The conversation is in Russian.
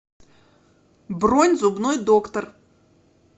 бронь зубной доктор